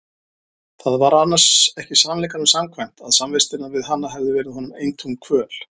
Það var annars ekki sannleikanum samkvæmt að samvistirnar við hana hefðu verið honum eintóm kvöl.